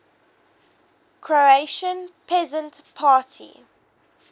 croatian peasant party